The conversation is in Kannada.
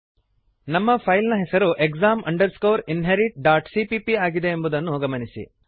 ನಮ್ಮ ಫೈಲ್ ನ ಹೆಸರು exam inheritcpp ಆಗಿದೆ ಎಂಬುದನ್ನು ಗಮನಿಸಿರಿ